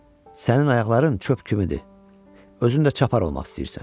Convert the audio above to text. Sənin ayaqların çöp kimidir, özün də çapar olmaq istəyirsən.